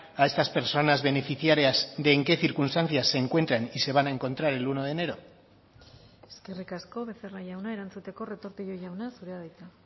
a estas personas beneficiarias de en qué circunstancias se encuentran y se van a encontrar el uno de enero eskerrik asko becerra jauna erantzuteko retortillo jauna zurea da hitza